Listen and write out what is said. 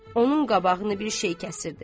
Onun qabağını bir şey kəsirdi.